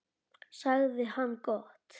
sagði hann: Gott.